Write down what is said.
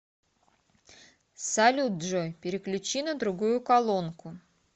салют джой переключи на другую колонку